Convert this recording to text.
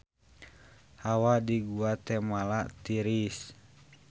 Hawa di Guatemala tiris